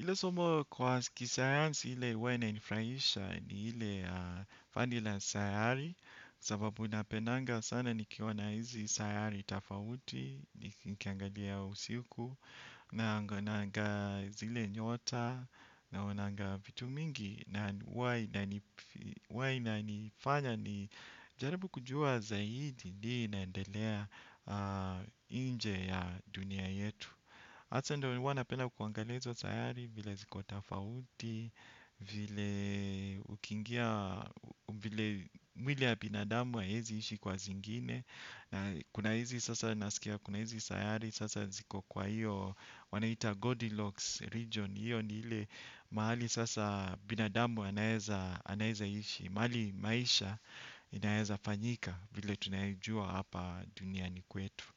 Ile somo kwa kisayansi ile huwa ina nifurahisha ni ile ya fandi la sayari sababu napendanga sana nikiona hizi sayari tofauti, nikiangalia usiku, naonanga zile nyota, naonanga vitu mingi, na huwa inanifanya nijaribu kujua zaidi nini inaendelea nje ya dunia yetu. Hata ndo nilikua napenda kuangalia hizo sayari vile ziko tofauti, vile ukiingia, vile mwili ya binadamu haiezi ishi kwa zingine Kuna hizi sasa nasikia, kuna hizi sayari sasa ziko kwa hiyo, wanaita Godilocks region hiyo ni ile mahali sasa binadamu anaeza ishi. Mahali maisha inaeza fanyika vile tunaijua hapa duniani kwetu